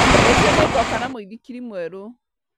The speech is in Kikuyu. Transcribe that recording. Rũciũ nĩngoka na mũithikiri mwerũ